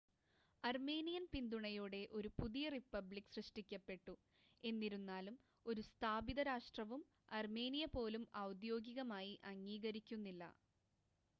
Armenian പിന്തുണയോടെ ഒരു പുതിയ റിപ്പബ്ലിക് സൃഷ്ടിക്കപ്പെട്ടു എന്നിരുന്നാലും ഒരു സ്ഥാപിത രാഷ്ട്രവും അർമേനിയ പോലും ഔദ്യോഗികമായി അംഗീകരിക്കുന്നില്ല